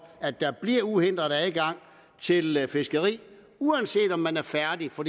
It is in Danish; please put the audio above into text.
at der bliver givet uhindret adgang til fiskeriet uanset om man er færdig for